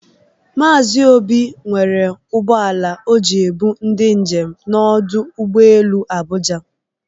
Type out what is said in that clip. Maazi Obi rere ụgbọ ala o ji ebu ndị njem n'ọdụ ụgbọelu Abụja.